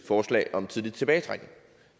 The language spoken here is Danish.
forslag om tidlig tilbagetrækning